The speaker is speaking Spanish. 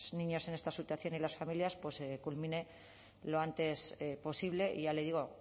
niños en esta situación y las familias se culmine lo antes posible y ya le digo